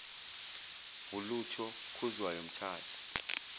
walutho khuzwayo mthathe